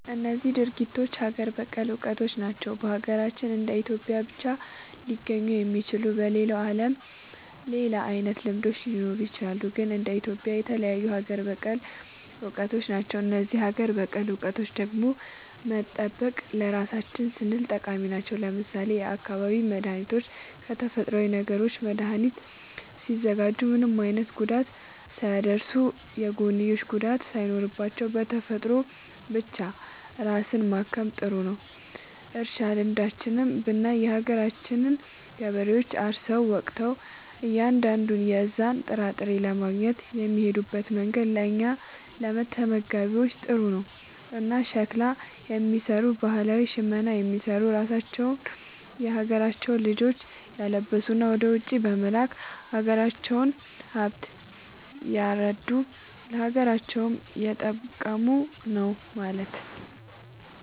እነዚህ ድርጊቶች ሀገር በቀል እውቀቶች ናቸው። በሀገራችን እንደ ኢትዮጵያ ብቻ ሊገኙ የሚችሉ። በሌላው ዓለምም ሌላ አይነት ልምዶች ሊኖሩ ይችላሉ። ግን እንደ ኢትዮጵያ የተለዩ ሀገር በቀል እውቀቶች ናቸው። እነዚህን ሀገር በቀል እውቀቶች ደግሞ መጠበቅ ለራሳችን ስንል ጠቃሚ ናቸው። ለምሳሌ የአካባቢ መድኃኒቶችን ከተፈጥሮዊ ነገሮች መድኃኒት ሲያዘጋጁ ምንም አይነት ጉዳት ሳያደርሱ፣ የጎንዮሽ ጉዳት ሳይኖራቸው፣ በተፈጥሮ ብቻ ራስን ማከም ጥሩ ነዉ። እርሻ ልምዶችንም ብናይ የሀገራችን ገበሬዎች አርሰው ወቅተው እያንዳንዱን የዛን ጥራጥሬ ለማግኘት የሚሄድበት መንገድ ለእኛ ለተመጋቢዎች ጥሩ ነው። እና ሸክላ የሚሰሩ ባህላዊ ሽመና የሚሰሩ ራሳቸውን የሀገራቸውን ልጆች እያለበሱ ወደ ውጪ በመላክ የሀገራቸውን ሃብት እያረዱ ለሀገራቸውም እየጠቀሙ ነው ማለት።